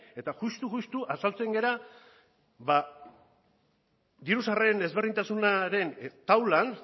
eta justu justu azaltzen gara diru sarreren ezberdintasunaren taulan